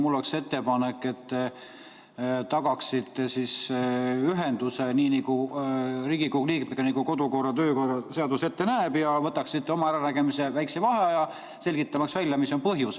Mul on ettepanek, et te tagaksite ühenduse Riigikogu liikmetega, nii nagu kodu- ja töökorra seadus ette näeb, ja võtaksite oma äranägemise järgi väikese vaheaja, selgitamaks välja, mis on põhjus.